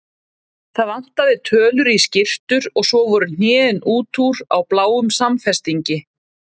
Það vantaði tölur í skyrtur og svo voru hnén út úr á bláum samfestingi.